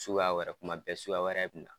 Suguya wɛrɛ, tuma bɛɛ suguya wɛrɛ bɛ na.